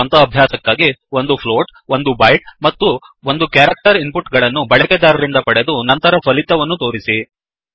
ಸ್ವಂತ ಅಭ್ಯಾಸಕ್ಕಾಗಿ ಒಂದು ಫ್ಲೋಟ್ ಫ್ಲೋಟ್ ಒಂದು ಬೈಟ್ ಬೈಟ್ಮತ್ತು ಒಂದು ಕ್ಯಾರೆಕ್ಟರ್ ಕ್ಯಾರೆಕ್ಟರ್ ಇನ್ ಪುಟ್ ಗಳನ್ನುಬಳಕೆದಾರರಿಂದ ಪಡೆದು ನಂತರ ಫಲಿತವನ್ನು ತೋರಿಸಿ